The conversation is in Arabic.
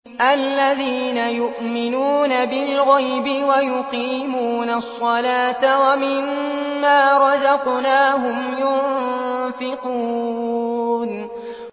الَّذِينَ يُؤْمِنُونَ بِالْغَيْبِ وَيُقِيمُونَ الصَّلَاةَ وَمِمَّا رَزَقْنَاهُمْ يُنفِقُونَ